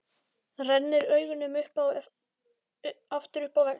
Rennir augunum aftur upp á vegginn.